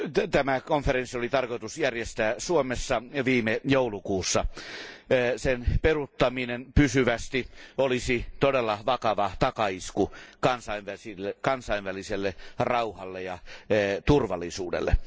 Tämä konferenssi oli tarkoitus järjestää Suomessa viime joulukuussa. Sen peruuttaminen pysyvästi olisi todella vakava takaisku kansainväliselle rauhalle ja turvallisuudelle.